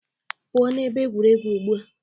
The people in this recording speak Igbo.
Pụo na ebe egwuregwu ugbu a!